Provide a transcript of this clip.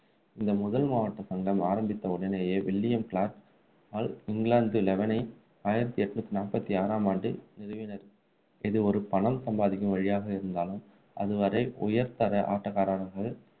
இந்த முதல் மாவட்ட சங்கம் ஆரம்பித்த உடனேயே வில்லியம் கிளார்கால் இங்கிலாந்து லெவனை ஆயிரத்து எண்ணூற்று நாற்பத்தி ஆறாம் ஆண்டு நிறுவினார். இது ஒரு பணம் சம்பாதிக்கும் வழியாக இருந்தாலும் அதுவரை உயர்தர ஆட்டக்காரராக